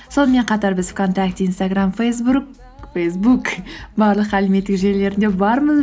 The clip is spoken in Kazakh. сонымен қатар біз вконтакте инстаграм фейсбук барлық әлеуметтік желілерінде бармыз